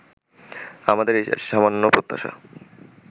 আমাদের এই সামান্য প্রত্যাশা